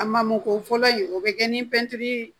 A mako fɔlɔ in o bɛ kɛ ni tɛntɛli ye